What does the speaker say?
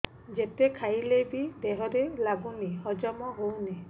ଯେତେ ଖାଇଲେ ବି ଦେହରେ ଲାଗୁନି ହଜମ ହଉନି